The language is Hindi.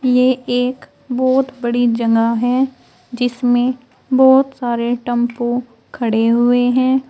ये एक बहोत बड़ी जगह है जिसमें बहोत सारे टेंपो खड़े हुए हैं।